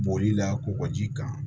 Boli la kɔkɔji kan